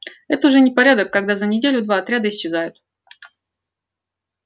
это уже непорядок когда за неделю два отряда исчезают